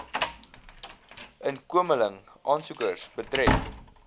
inkomeling aansoekers betref